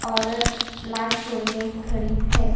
औरत last toll में खड़ी है ।